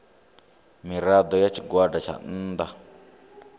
mirado ya tshigwada tsha nnda